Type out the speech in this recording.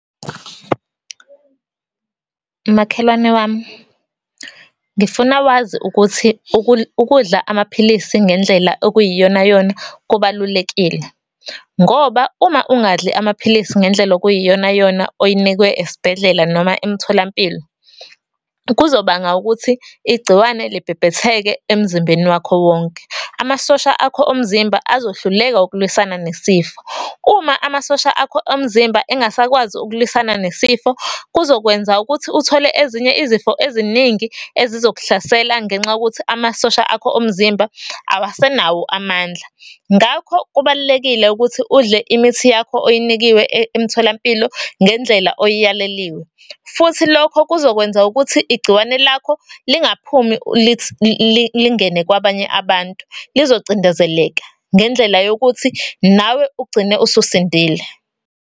Makhelwane wami, ngifuna wazi ukuthi ukudla amaphilisi ngendlela okuyiyonayona kubalulekile. Ngoba, uma ungadli amaphilisi ngendlela okuyiyonayona oyinikwe esibhedlela noma emtholampilo, kuzobanga ukuthi igciwane libhebhetheka emzimbeni wakho wonke. Amasosha akho omzimba azohluleka ukulwisana nesifo. Uma amasosha akho omzimba engasakwazi ukulwisana nesifo, kuzokwenza ukuthi uthole ezinye izifo eziningi ezizokuhlasela ngenxa yokuthi amasosha akho omzimba awasenawo amandla. Ngakho, kubalulekile ukuthi udle imithi yakho oyinikiwe emtholampilo ngendlela oyiyaleliwe. Futhi lokho, kuzokwenza ukuthi igciwane lakho lingaphumi lingene kwabanye abantu, lizocindezeleka ngendlela yokuthi nawe ugcine ususindile.